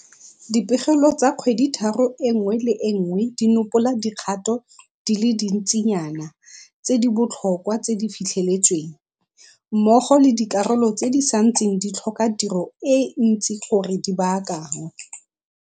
Dipegelo tsa kgweditharo e nngwe le e nngwe di nopola dikgato di le dintsinyana tse di botlhokwa tse di fitlheletsweng, mmogo le dikarolo tse di santseng di tlhoka tiro e ntsi gore di baakanngwe.